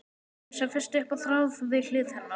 Eins og fest upp á þráð við hlið hennar.